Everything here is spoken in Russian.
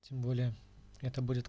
тем более это будет